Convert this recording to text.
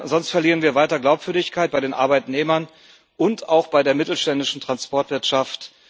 Sonst verlieren wir weiter Glaubwürdigkeit bei den Arbeitnehmern und auch bei der mittelständischen Transportwirtschaft.